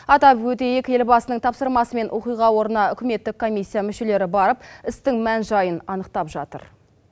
атап өтейік елбасының тапсырмасымен оқиға орны үкіметтік комиссия мүшелері барып істің мән жайын анықтап жатыр